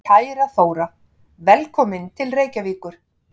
Kæra Þóra. Velkomin til Reykjavíkur.